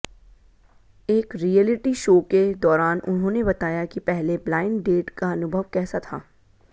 एक reality show के दौरान उन्होंने बताया कि पहले ब्लाइंड डेट का अनुभव कैसा था